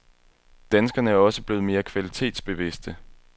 Danskerne er også blevet mere kvalitetsbevidste.